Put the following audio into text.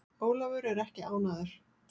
Ólafur er ekki ánægður.